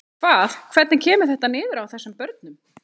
Hvað, hvernig kemur þetta niður á þessum börnum?